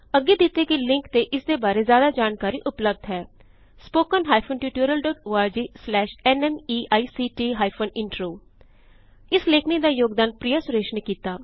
ਅੱਗੇ ਦਿੱਤੇ ਗਏ ਲਿੰਕ ਤੇ ਇਸਦੀ ਬਾਰੇ ਜ਼ਿਆਦਾ ਜਾਨਕਾਰੀ ਉਪਲਬਧ ਹੈ httpspoken tutorialorgNMEICT Intro ਇਸ ਲੇਖਨੀ ਦਾ ਯੋਗਦਾਨ ਪ੍ਰਿਯਾ ਸੁਰੇਸ਼ ਨੇ ਕੀਤਾ